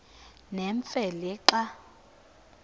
nemfe le xa